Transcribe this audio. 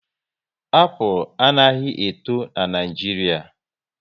Apụl anaghị eto n'Naijiria